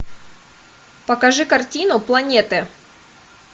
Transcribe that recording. покажи картину планеты